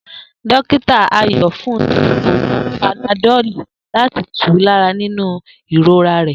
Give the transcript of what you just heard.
Dokita ayo fún ni oògùn panadoli láti tù lára nínú ìrora rè